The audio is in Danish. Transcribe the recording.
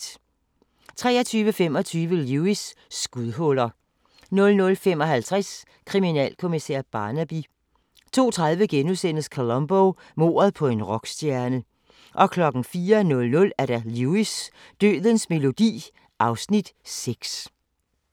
23:25: Lewis: Skudhuller 00:55: Kriminalkommissær Barnaby 02:30: Columbo: Mordet på en rockstjerne * 04:00: Lewis: Dødens melodi (Afs. 6)